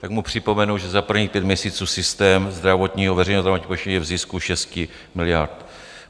Tak mu připomenu, že za prvních pět měsíců systém zdravotního, veřejného zdravotního pojištění je v zisku 6 miliard.